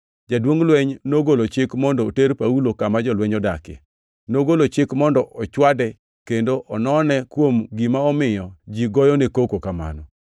jaduongʼ lweny nogolo chik mondo oter Paulo kama jolweny odakie. Nogolo chik mondo ochwade kendo onone kuom gima omiyo ji goyone koko kamano.